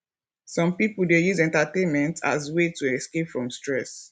some pipo dey use entertainment as way to escape from stress